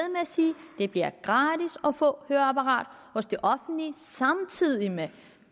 sige at det bliver gratis at få høreapparat hos det offentlige samtidig med